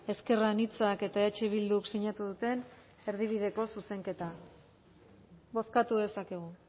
ezker anitzak eta eh bilduk sinatu duten erdibideko zuzenketa bozkatu dezakegu